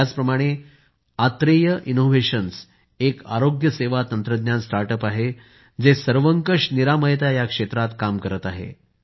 याचप्रमाणे आत्रेय इनोव्हेशन्सएक आरोग्यसेवा तंत्रज्ञान स्टार्टअप आहे जे सर्वंकष निरामयता या क्षेत्रात काम करत आहे